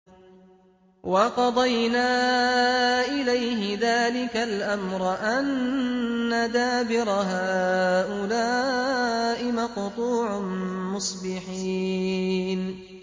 وَقَضَيْنَا إِلَيْهِ ذَٰلِكَ الْأَمْرَ أَنَّ دَابِرَ هَٰؤُلَاءِ مَقْطُوعٌ مُّصْبِحِينَ